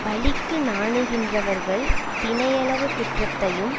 பழிக்கு நாணுகின்றவர்கள் தினையளவு குற்றத்தையும்